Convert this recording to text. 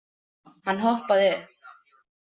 Hann hoppaði upp.